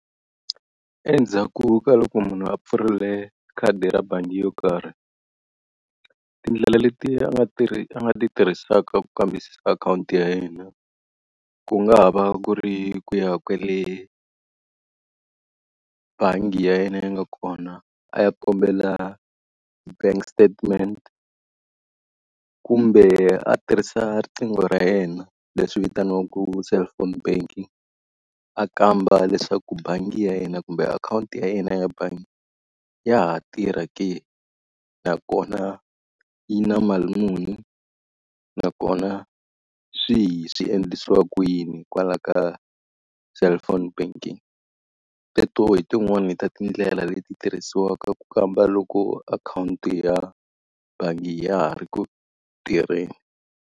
Endzhaku ka loko munhu a pfurile khadi ra bangi yo karhi, tindlela leti nga a nga ti a nga ti tirhisaka ku kambisisa akhawunti ya yena ku nga ha va ku ri ku ya kwele bangi ya yena yi nga kona a ya kombela bank statement, kumbe a tirhisa riqingho ra yena leswi vitaniwaka cellphone banking. A kamba leswaku bangi ya yena kumbe akhawunti ya yena ya bangi ya ha tirha ke, nakona yi na mali muni, nakona swihi swi endlisiwa ku yini hikwalaho ka cellphone banking. Teto hi tin'wani ta tindlela leti tirhisiwaka ku kamba loko akhawunti ya bangi ya ha ri ku tirheni.